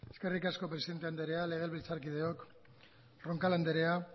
eskerrik asko presidente andrea legebiltzarkideok roncal andrea